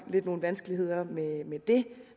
nogle vanskeligheder med det